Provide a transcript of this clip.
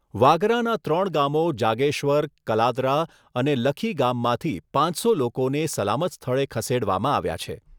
વાગરાના ત્રણ ગામો જાગેશ્વર કલાદરા અને લખીગામમાંથી પાંચસો લોકોને સલામત સ્થળે ખસેડવામાં આવ્યા છે.